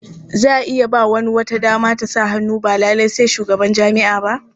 Za a iya ba wani wata dama ta sa hannu ba lalai sai shugaban jami'a ba.